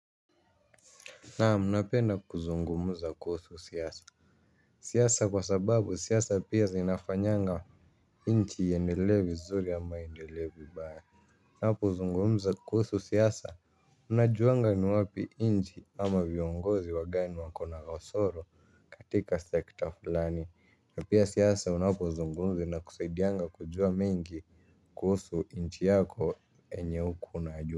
Naam napenda kuzungumza kuusu siasa siasa kwa sababu siyasa pia zinafanyanga inchi iendele vizuri ama iendelee vibaya napo zungumza kuusu siasa unajuanga ni wapi inchi ama viongozi wagani wako na kasoro katika sekta flani na pia siasa unapozungumza inakusaidianga kujua mingi kuusu inchi yako enye ukua unajua.